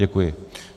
Děkuji.